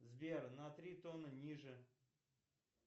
сбер на три тона ниже